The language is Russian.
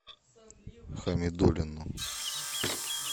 хамидуллину